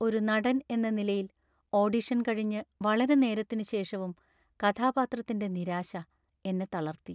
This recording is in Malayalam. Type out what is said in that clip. ഒരു നടൻ എന്ന നിലയിൽ, ഓഡിഷൻ കഴിഞ്ഞ് വളരെനേരത്തിനുശേഷവും കഥാപാത്രത്തിന്‍റെ നിരാശ എന്നെ തളർത്തി.